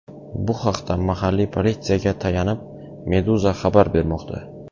Bu haqda, mahalliy politsiyaga tayanib, Meduza xabar bermoqda .